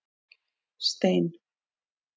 Stein